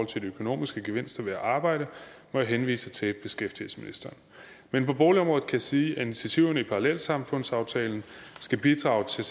til de økonomiske gevinster ved at arbejde må jeg henvise til beskæftigelsesministeren men på boligområdet kan jeg sige at initiativerne i parallelsamfundsaftalen skal bidrage til